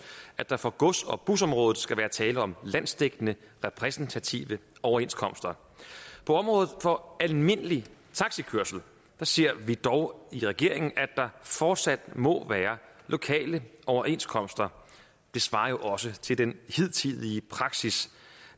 at der for gods og busområdet skal være tale om landsdækkende repræsentative overenskomster på området for almindelig taxikørsel ser vi dog i regeringen at der fortsat må være lokale overenskomster det svarer jo også til den hidtidige praksis